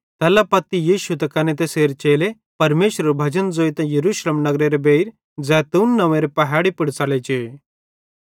तैल्ला पत्ती यीशु त कने तैसेरे चेले परमेशरेरू भजन ज़ोइतां यरूशलेम नगरेरे बेइर जैतून नंव्वेरे पहैड़ी पुड़ च़ले जे